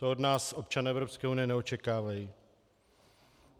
To od nás občané Evropské unie neočekávají.